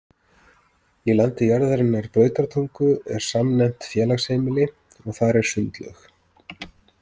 Í landi jarðarinnar Brautartungu er samnefnt félagsheimili og þar er sundlaug.